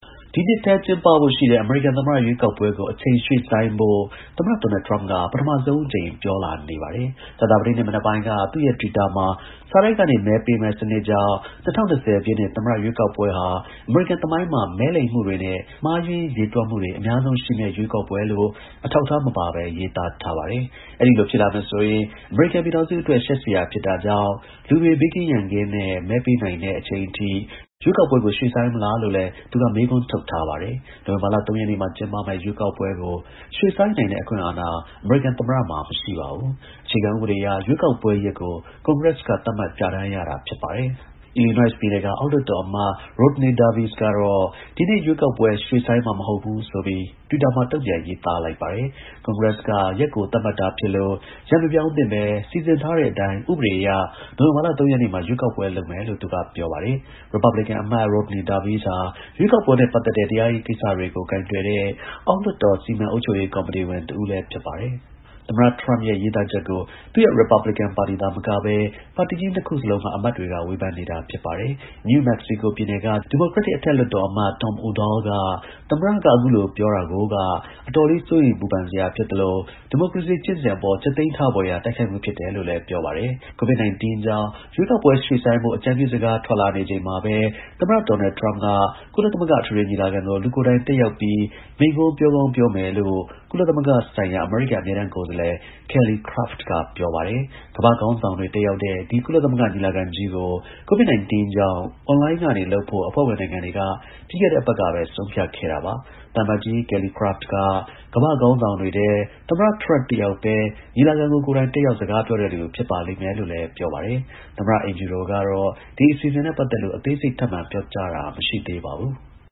ဒီနှစ်ထဲ ကျင်းပဖို့ရှိတဲ့ အမေရိကန် သမ္မတ ရွေးကောက်ပွဲကို အချိန် ရွှေ့ဆိုင်းဖို့ သမ္မတ ဒေါ်နယ်ထရမ့်က ပထမဆုံး အကြိမ်အဖြစ်ပြောလာနေပါတယ်။ ကြာသပတေးနေ့ မနက်ပိုင်းက သူ့ရဲ့ twitter မှာ စာတိုက်ကနေ မဲပေးမယ့်စနစ်ကြောင့် ၂၀၂၀ ပြည့်နှစ် သမ္မတ ရွေးကောက်ပွဲဟာ အမေရိကန် သမိုင်းမှာ မဲလိမ်မှုတွေနဲ့ မှားယွင်းရေတွက်မှုတွေ အများဆုံးရှိမယ့် ရွေးကောက်ပွဲလို့ အထောက်အထား မပါဘဲ ရေးသားထားပါတယ်။ အဲဒီလို ဖြစ်လာမယ်ဆိုရင် အမေရိကန် ပြည်ထောင်စုအတွက် ရှက်စရာ ဖြစ်တာကြောင့် လူတွေ ဘေးကင်း ရန်ကင်းနဲ့ မဲပေးနိုင် တဲ့ အချိန်အထိ ရွေးကောက်ပွဲကို ရွှေ့ဆိုင်းမလားလို့လည်း သူက မေးခွန်းထုတ်ထားပါတယ်။ နိုဝင်ဘာလ ၃ ရက်နေ့မှာ ကျင်းပမယ့် ရွေးကောက်ပွဲကို ရွှေ့ဆိုင်းနိုင်တဲ့ အခွင့်အာဏာ အမေရိကန် သမ္မတမှာ မရှိပါဘူး။ အခြေခံ ဥပဒေအရ ရွေးကောက်ပွဲရက်ကို ကွန်ဂရက်က သတ်မှတ် ပြဌာန်းရတာ ဖြစ်ပါတယ်။ Illinois ပြည်နယ်က အောက်လွှတ်တော် အမတ် Rodney Davis ကတော့ ဒီနှစ် ရွေးကောက်ပွဲ ရွှေ့ဆိုင်းမှာ မဟုတ်ဘူးဆိုပြီး တွစ်တာ မှာ တုံ့ပြန် ရေးသားလိုက်ပါတယ်။ ကွန်ဂရက်က ရက်ကို သတ်မှတ်တာဖြစ်လို့ ရက် မပြောင်းသင့်ဘဲ စီစဉ်ထားတဲ့အတိုင်း ဥပဒေ အရ နိုဝင်ဘာလ ၃ ရက်နေ့မှာ ရွေးကောက်ပွဲ လုပ်မယ်လို့ သူက ပြောပါတယ်။ ရစ်ပတ်ဘလင်ကန် အမတ် Rodney Davis ဟာ ရွေးကောက်ပွဲနဲ့ ပတ်သက်တဲ့ တရားရေးကိစ္စတွေ ကိုင်တွယ်တဲ့ အောက်လွှတ်တော် စီမံ အုပ်ချုပ်ရေး ကော်မတီဝင် တစ်ဦးလည်း ဖြစ်ပါတယ်။ သမ္မတ ထရမ့်ရဲ့ ရေးသားချက်ကို သူ့ရဲ့ ရစ်ပတ်ပလင်ကန် ပါတီသာမကဘဲ ပါတီကြီး နှစ်ခုစလုံးက အမတ်တွေက ဝေဖန်နေတာ ဖြစ်ပါတယ်။ New Mexico ပြည်နယ်က ဒီမိုကရက်တစ် အထက်လွှတ်တော်အမတ် Tom Udall က သမ္မတက အခုလို ပြောလာတာကိုက အတော်လေး စိုးရိမ်ပူပန်စရာ ဖြစ်သလို ဒီမိုကရေစီ ကျင့်စဉ်အပေါ် ကြက်သီး ထဖွယ်ရာ တိုက်ခိုက်မှု ဖြစ်တယ်လို့ ပြောပါတယ်။ COVID-19 ကြောင့် ရွေးကောက်ပွဲ ရွှေ့ဆိုင်းဖို့ အကြံပြုစကား ထွက်လာနေချိန်မှာပဲ သမ္မတ ဒေါ်နယ် ထရမ့် ကုလသမဂ္ဂ အထွေထွေ ညီလာခံကို လူကိုယ်တိုင် တက်ရောက် မိန့်ခွန်း ပြောကောင်း ပြောမယ်လို့ ကုလသမဂ္ဂ ဆိုင်ရာ အမေရိကန် အမြဲတမ်း ကိုယ်စားလှယ် Kelly Craft က ပြောပါတယ်။ ကမ္ဘာ့ခေါင်းဆောင်တွေ တက်ရောက်တဲ့ ဒီ ကုလသမဂ္ဂ ညီလာခံကြီးကို COVID-19 ကြောင့် အွန်လိုင်း ကနေ လုပ်ဖို့ အဖွဲ့ဝင်နိုင်ငံတွေက ပြီးခဲ့တဲ့ အပတ်ကပဲ ဆုံးဖြတ်ခဲ့တာပါ။ သံအမတ်ကြီး Kelly Craft က ကမ္ဘာ့ ခေါင်းဆောင်တွေထဲ သမ္မတ ထရမ့်တစ်ယောက်ပဲ ညီလာခံကို ကိုယ်တိုင်တက်ရောက် စကားပြောတဲ့လူ ဖြစ်ပါလိမ့်မယ်လို့လည်း ပြောပါတယ်။ သမ္မတ အိမ်ဖြူတော်ကတော့ ဒီ အစီအစဉ်နဲ့ပတ်သက်လို့ အသေးစိတ် ထပ်မံ ပြောကြားတာ မရှိသေးပါဘူး။